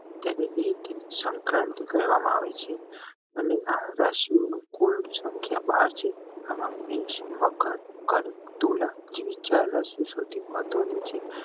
ત્યારે સંક્રાંતિ કરવામાં આવે છે અને આ રાશિ નું કુલ સંખ્યા બાર છે એમાં મકર, કર્ક, જેવી ચાર રાશિ સૌથી મહત્વ ની છે